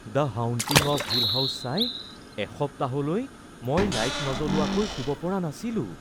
‘The Haunting of Hill House’ চাই এসপ্তাহলৈ মই লাইট নজ্বলোৱাকৈ শুব পৰা নাছিলো।